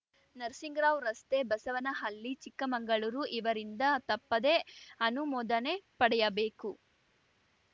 ನರಸಿಂಗರಾವ್‌ ರಸ್ತೆ ಬಸವನಹಳ್ಳಿ ಚಿಕ್ಕಮಂಗಳೂರು ಇವರಿಂದ ತಪ್ಪದೇ ಅನುಮೋದನೆ ಪಡೆಯಬೇಕು